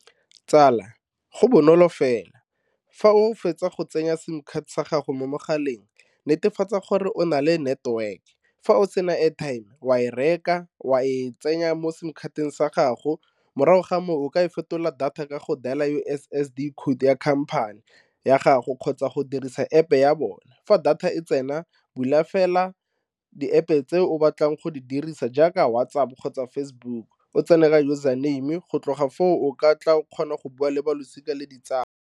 Tsala go bonolo fela, fa o fetsa go tsenya sim sa gago mo mogaleng netefatsa gore o na le network fa o sena airtime wa e reka wa e tsenya mo sim card-teng sa gago morago ga moo o ka e fetola data ka go dial-a U_S_S_D code ya company ya gago kgotsa go dirisa App ya bone fa data e tsena bula fela di-App-e tse o batlang go di dirisa jaaka WhatsApp kgotsa Facebook o tsena ka username, go tloga foo o ka tla kgona go bua le ba losika le ditsala.